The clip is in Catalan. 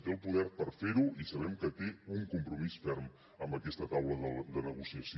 té el poder per fer ho i sabem que té un compromís ferm amb aquesta taula de negociació